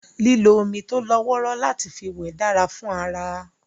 Lílo omi tó lọ́wọ́rọ́ láti fi wẹ̀ dára fún ara